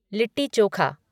litti chokha